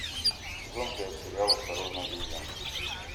сезон пять сериал осторожно обезьянки